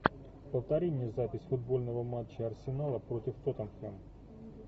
повтори мне запись футбольного матча арсенала против тоттенхэм